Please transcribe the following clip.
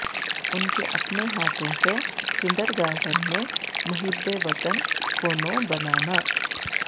ان کے اپنے ہاتھوں سے کنڈرگارٹن میں محب وطن کونوں بنانا